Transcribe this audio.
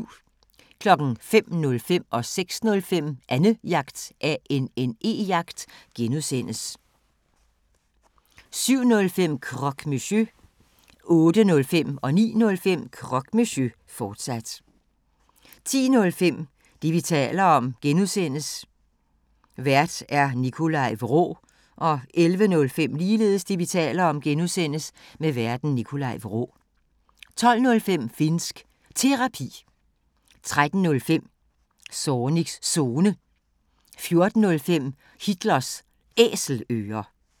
05:05: Annejagt (G) 06:05: Annejagt (G) 07:05: Croque Monsieur 08:05: Croque Monsieur, fortsat 09:05: Croque Monsieur, fortsat 10:05: Det, vi taler om (G) Vært: Nikolaj Vraa 11:05: Det, vi taler om (G) Vært: Nikolaj Vraa 12:05: Finnsk Terapi 13:05: Zornigs Zone 14:05: Hitlers Æselører